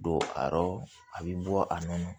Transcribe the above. Don a yɔrɔ a bɛ bɔ a nɔ na